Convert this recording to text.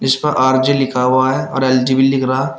जिसपर R J लिखा हुआ है और एल_जी भी लिख रहा --